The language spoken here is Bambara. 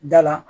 Da la